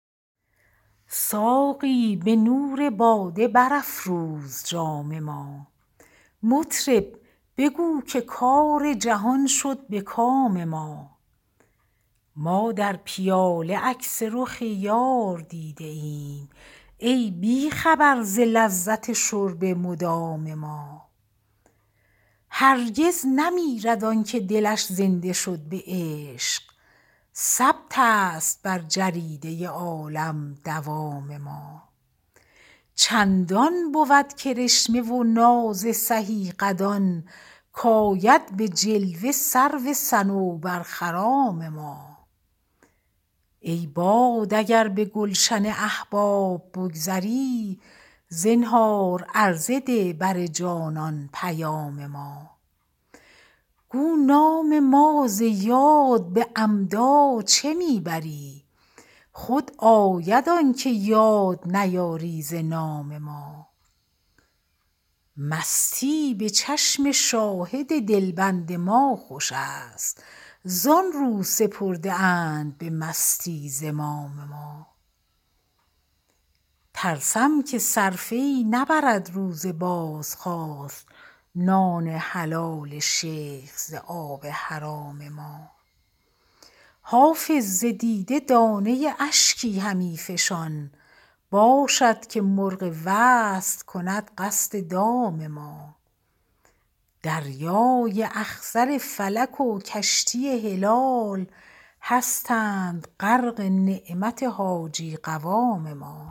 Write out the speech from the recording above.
ساقی به نور باده برافروز جام ما مطرب بگو که کار جهان شد به کام ما ما در پیاله عکس رخ یار دیده ایم ای بی خبر ز لذت شرب مدام ما هرگز نمیرد آن که دلش زنده شد به عشق ثبت است بر جریده عالم دوام ما چندان بود کرشمه و ناز سهی قدان کآید به جلوه سرو صنوبرخرام ما ای باد اگر به گلشن احباب بگذری زنهار عرضه ده بر جانان پیام ما گو نام ما ز یاد به عمدا چه می بری خود آید آن که یاد نیاری ز نام ما مستی به چشم شاهد دلبند ما خوش است زآن رو سپرده اند به مستی زمام ما ترسم که صرفه ای نبرد روز بازخواست نان حلال شیخ ز آب حرام ما حافظ ز دیده دانه اشکی همی فشان باشد که مرغ وصل کند قصد دام ما دریای اخضر فلک و کشتی هلال هستند غرق نعمت حاجی قوام ما